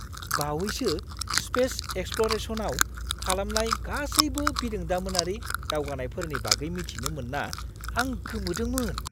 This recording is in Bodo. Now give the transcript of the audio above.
बावैसो स्पेस एक्सप्ल'रेसनआव खालामनाय गासैबो बिरोंदामिनारि दावगानायफोरनि बागै मिथिनो मोनना आं गोमोदोंमोन!